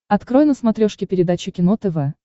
открой на смотрешке передачу кино тв